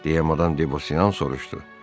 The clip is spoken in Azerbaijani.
deyə Madam Debosiyan soruşdu.